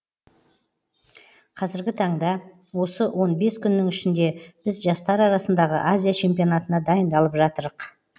қазіргі таңда осы он бес күннің ішінде біз жастар арасындағы азия чемпионатына дайындалып жатырық